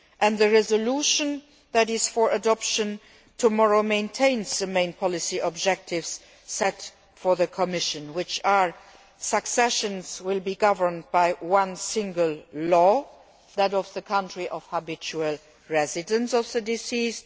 The resolution which is for adoption tomorrow maintains the main policy objectives set for the Commission, namely that successions will be governed by one single law that of the country of habitual residence of the deceased.